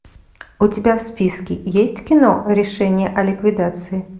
у тебя в списке есть кино решение о ликвидации